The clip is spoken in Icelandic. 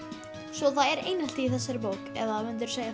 svo það er einelti í þessari bók eða myndirðu segja